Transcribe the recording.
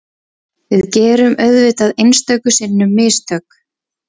Við gerum auðvitað einstöku sinnum mistök